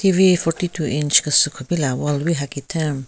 TV forty two inch kese kupila wall wi hakitheng.